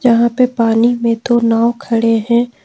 यहां पे पानी में दो नाव खड़े हैं।